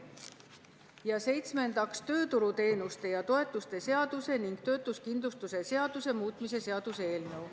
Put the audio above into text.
Ja seitsmendaks, tööturuteenuste ja -toetuste seaduse ning töötuskindlustuse seaduse muutmise seaduse eelnõu.